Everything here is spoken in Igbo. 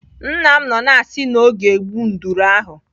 Nna m nọ na-asị na ọ ga-egbu nduru ahụ.